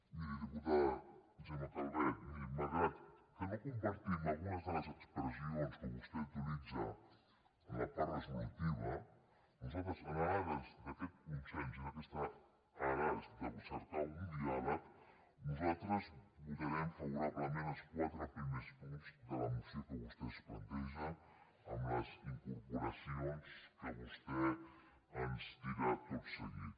miri diputada gemma calvet miri malgrat que no compartim algunes de les expressions que vostè utilitza en la part resolutiva nosaltres en ares d’aquest consens i en ares de cercar un diàleg votarem favorablement els quatre primers punts de la moció que vostè ens planteja amb les incorporacions que vostè ens dirà tot seguit